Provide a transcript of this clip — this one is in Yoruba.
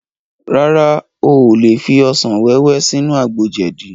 Rárá, o ò lè fi asàn wẹ́wẹ́ sínú àgbo jẹ̀dí